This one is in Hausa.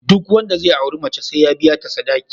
Duk wanda zai auri mace sai ya biya ta sadaki